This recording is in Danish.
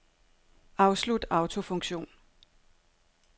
Afslut autofunktion.